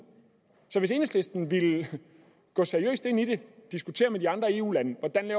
så hvis enhedslisten ville gå seriøst ind i det og diskutere med de andre eu lande hvordan vi